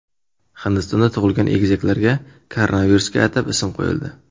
Hindistonda tug‘ilgan egizaklarga koronavirusga atab ism qo‘yildi.